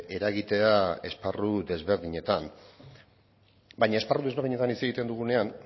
eragitea esparru desberdinetan baina esparru desberdinetan hitz egiten dugunean